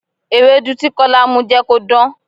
Ewédú tí Kọ́lá mu jẹ́ kó dán.